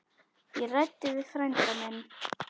Ég ræddi við frænda minn.